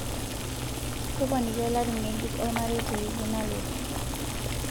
toponiki olari ngejuk o olmarei tewiki nalotu